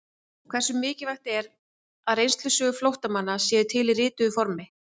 Hversu mikilvægt er að reynslusögur flóttamanna séu til í rituðu formi?